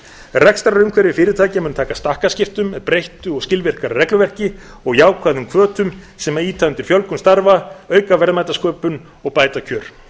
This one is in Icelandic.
rekstrarumhverfi fyrirtækja mun taka stakkaskiptum með breyttu og skilvirkara regluverki og jákvæðum hvötum sem ýta undir fjölgun starfa auka verðmætasköpun og bæta kjör